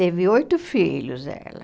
Teve oito filhos, ela.